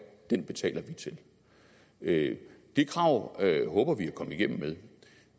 den betaler vi til det det krav håber vi at komme igennem med